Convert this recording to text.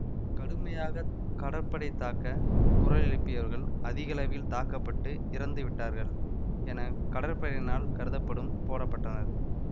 கடுமையாக கடற்படை தாக்க குரல் எழுப்பியவர்கள் அதிகளவில் தாக்க பட்டு இறந்து விட்டார்கள் என கடற்படையினரால் கருதப்பட்டும் போடப்பட்டனர்